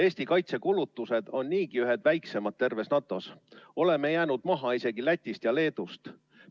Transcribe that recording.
Eesti kaitsekulutused on niigi ühed väiksemad terves NATO‑s, oleme jäänud maha isegi Lätist ja Leedust.